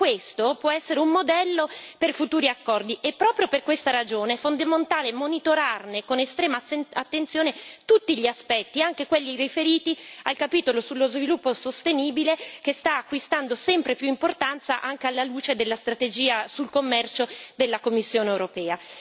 Per questo, può essere un modello per futuri accordi e proprio per questa ragione è fondamentale monitorarne, con estrema attenzione, tutti gli aspetti, anche quelli riferiti al capitolo sullo sviluppo sostenibile che sta acquistando sempre più importanza anche alla luce della strategia sul commercio della Commissione europea.